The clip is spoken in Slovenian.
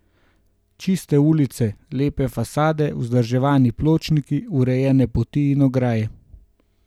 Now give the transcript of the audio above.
Čiste ulice, lepe fasade, vzdrževani pločniki, urejene poti in ograje.